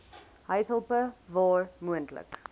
huishulpe waar moontlik